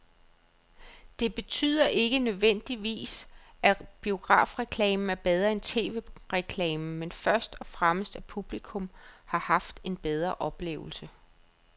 Det betyder ikke nødvendigvis, at biografreklamen er bedre end tv-reklamen, men først og fremmest at publikum har haft en bedre oplevelse.